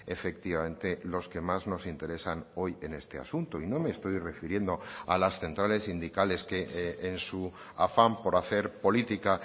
efectivamente los que más nos interesan hoy en este asunto y no me estoy refiriendo a las centrales sindicales que en su afán por hacer política